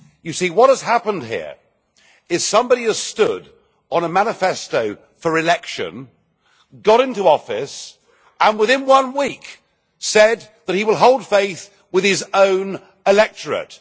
You see, what has happened here is somebody has stood on a manifesto for election, got into office and, within one week, said that he will hold faith with his own electorate.